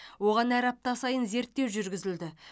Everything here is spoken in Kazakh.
оған әр апта сайын зерттеу жүргізілді